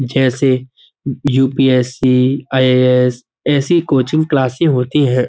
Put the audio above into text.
जैसे UPSC. IAS. ऐसी coaching classes होती हैं।